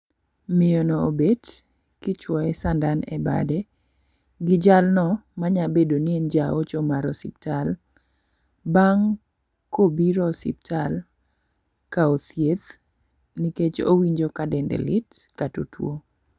Miyo no obet kichuoye sandan e bade gi jalno manya bedo ni en jaocho mar osiptal bang' kobiro osiptal kao thieth nikech owinjo ka dende lit kato tuo.